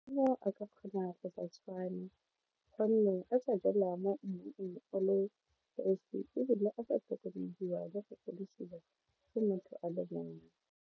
A ka kgona go sa tshwane gonne a tsa jalwa mo mmung on le esi ebile a sa tlhokomelwa le go godisiwa kd motho a le mongwe.